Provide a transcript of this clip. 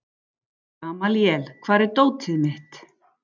Gamalíel, hvar er dótið mitt?